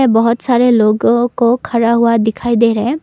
बहोत सारे लोगों को खड़ा हुआ दिखाई दे रहे--